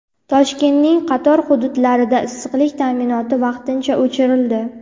Toshkentning qator hududlarida issiqlik ta’minoti vaqtincha o‘chirildi.